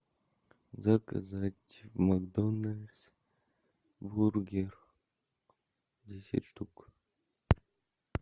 заказать макдональс бургер десять штук